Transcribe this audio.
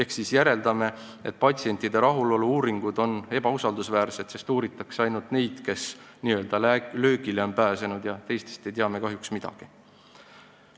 Me järeldame siit, et patsientide rahulolu uuringud on ebausaldusväärsed, sest uuritakse ainult neid, kes on n-ö löögile pääsenud, teistest ei tea me kahjuks midagi.